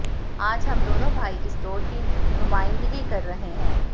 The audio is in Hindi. आज हम दोनों भाई इस दौर की नुमाइंदगी कर रहे हैं